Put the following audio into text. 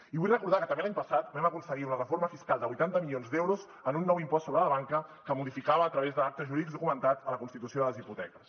i vull recordar que també l’any passat vam aconseguir una reforma fiscal de vuitanta milions d’euros amb un nou impost sobre la banca que modificava a través d’actes jurídics documentats la constitució de les hipoteques